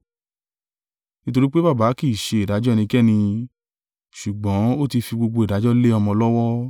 Nítorí pé Baba kì í ṣe ìdájọ́ ẹnikẹ́ni, ṣùgbọ́n ó ti fi gbogbo ìdájọ́ lé ọmọ lọ́wọ́,